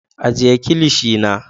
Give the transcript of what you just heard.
Ajiye kilishi na.